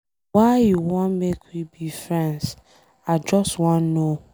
Why you wan make we be friends? I just wan know.